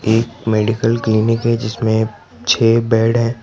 एक medical clinic है जिसमें छे बेड है।